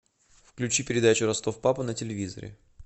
включи передачу ростов папа на телевизоре